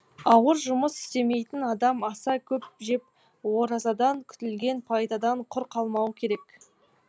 ауыр жұмыс істемейтін адам аса көп жеп оразадан күтілген пайдадан құр қалмауы керек